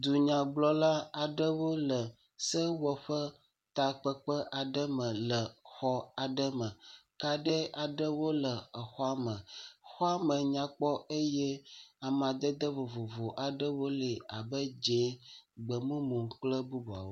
Dunyagblɔla aɖewo le sewɔƒe takpekpe aɖe me le xɔ aɖe me kaɖi aɖewo le exɔa me. Xɔame nyakpɔ eye amadede vovovo aɖewo li abe dzɛ̃gbemumu kple bubuawo.